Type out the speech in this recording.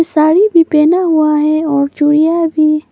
साड़ी भी पहना हुआ है और चूड़ियां भी।